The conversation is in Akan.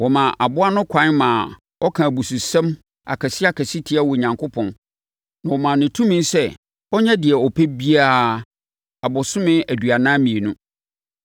Wɔmaa aboa no kwan maa ɔkaa abususɛm akɛseakɛseɛ tiaa Onyankopɔn, na wɔmaa no tumi sɛ ɔnyɛ deɛ ɔpɛ biara abosome aduanan mmienu.